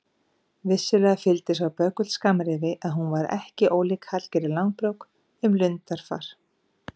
Vissulega fylgdi sá böggull skammrifi að hún var ekki ólík Hallgerði Langbrók um lundarfar.